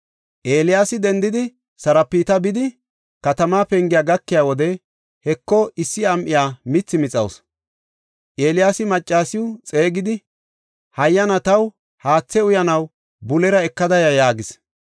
Eeliyaasi dendidi Sarapta bidi katama pengiya gakiya wode, Heko, issi am7iya mithi mixawusu. Eeliyaasi maccasiw xeegidi, “Hayyana, taw haathe uyanaw bulera ekada ya” yaagis.